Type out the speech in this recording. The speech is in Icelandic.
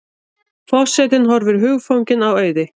Forsetinn horfir hugfanginn á Auði.